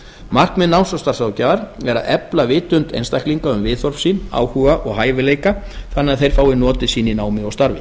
markmið náms og starfsráðgjafar er að efla vitund einstaklinga um viðhorf sín áhuga og hæfileika þannig að þeir fái notið sín í námi og starfi